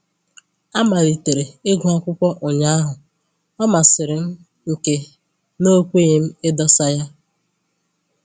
Amalitere ịgụ akwụkwọ ụnyahụ, ọ masịrị m nke na o kweghị m idosa ya